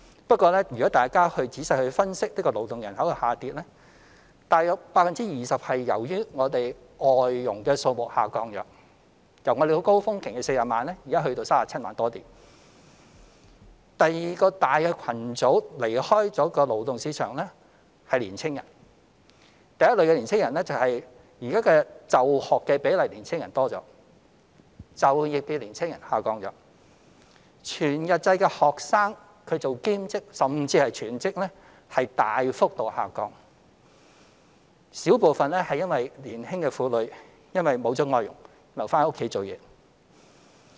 不過若大家仔細分析勞動人口的下跌，約 20% 是由於外籍家庭傭工數目下降，從高峰期的40萬人降至現時37萬多人；第二個離開勞動市場的大群組是年輕人：第一類是現時就學年輕人比例增加，就業年輕人比例下降，全日制學生做兼職甚至全職的比例大幅下降；小部分則是年輕婦女因沒有聘用外傭而留在家中。